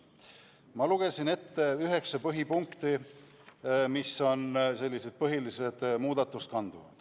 Ma lugesin ette üheksa põhipunkti, mis kannavad selliseid põhilisi muudatusi.